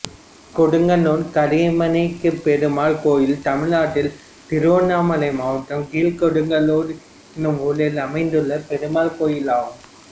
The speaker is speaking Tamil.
கீழ்கொடுங்காலூர் கரியமாணிக்கப்பெருமாள் கோயில் தமிழ்நாட்டில் திருவண்ணாமலை மாவட்டம் கீழ்கொடுங்காலூர் என்னும் ஊரில் அமைந்துள்ள பெருமாள் கோயிலாகும்